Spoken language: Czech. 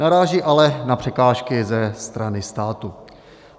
Naráží ale na překážky ze strany státu.